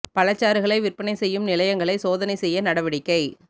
பழச்சாறுகளை விற்பனை செய்யும் நிலையங்களை சோதனை செய்ய நடவடிக்கை